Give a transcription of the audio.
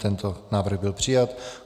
Tento návrh byl přijat.